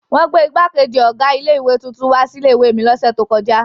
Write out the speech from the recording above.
Wọn gbé ìgbákejì ọ̀gá ilé-ìwé tuntun wá sí ilé-ìwé mi lọ́sẹ̀ tó kọjá.